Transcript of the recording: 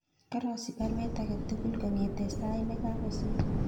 Karosich baruet age tugul kongeten sait negagosir